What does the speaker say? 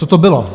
Co to bylo?